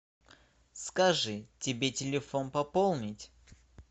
скажи тебе телефон пополнить